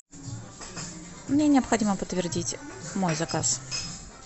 мне необходимо подтвердить мой заказ